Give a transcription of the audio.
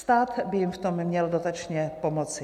Stát by jim v tom měl dotačně pomoci.